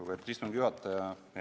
Lugupeetud istungi juhataja!